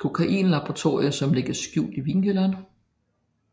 kokainlaboratorie som ligger skjult i vinkælderen